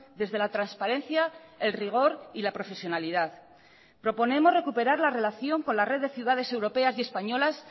desde la transparencia el rigor y la profesionalidad proponemos recuperar la relación con la red de ciudades europeas y españolas